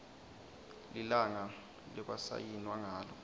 lilanga lekwasayinwa ngalo